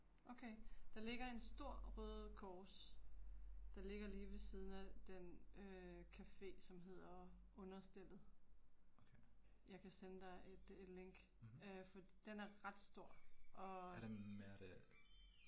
Okay, der ligger en store Røde Kors, der ligger lige ved siden af den øh café som hedder Understellet. Jeg kan sende dig et øh et link øh, fordi den er ret stor og